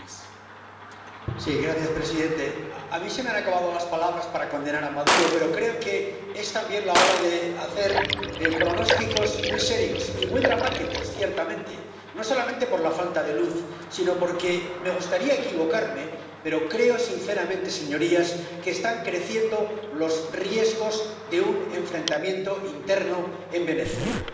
Señor presidente, a mí se me han acabado las palabras para condenar a Maduro, pero creo que es también la hora de hacer pronósticos muy serios y muy dramáticos, ciertamente, no solo por la falta de luz, sino porque, me gustaría equivocarme, pero creo sinceramente, señorías, que están creciendo los riesgos de un enfrentamiento interno en Venezuela.